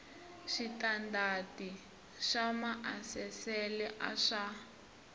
switandati swa maasesele a swa